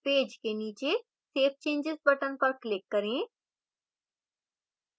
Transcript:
page के नीचे save changes button पर click करें